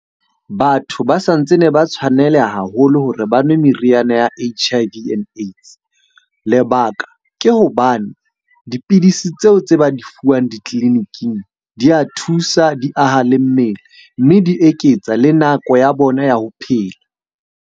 Batho ba sa ntse ne ba tshwaneleha haholo hore ba nwe meriana ya H_I_V and AIDS. Lebaka ke hobane dipidisi tseo tse ba di fuwang ditleliniking di a thusa, di aha le mmele. Mme di eketsa le nako ya bona ya ho phela.